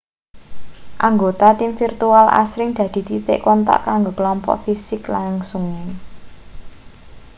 anggota tim virtual asring dadi titik kontak kanggo klompok fisik langsunge